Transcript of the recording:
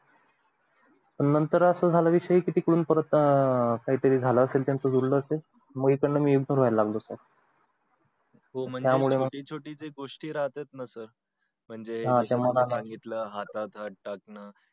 नंतर असं झालं कि विषय तिकडून झालं असेल त्याचा बोलणं म इकडून मी ignore होयला लागलो sir हो म्हणजे छोटी छोटी जे गोष्टी राहते ना sir म्हणजे हातात हात टाकणं